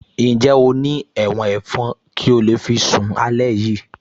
Ǹjẹ́ o ní ẹ̀wọ̀n ẹ̀fọn kí o lè fi sún alẹ́ yìí